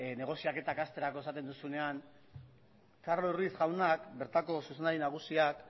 negoziaketak hasterako esaten duzunean carlos ruiz jaunak bertako zuzendari nagusiak